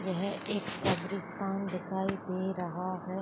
ये है एक कब्रिस्तान दिखाई दे रहा है।